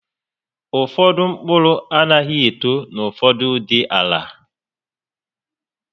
Ụfọdụ mkpụrụ anaghị eto na ụfọdụụdị àlà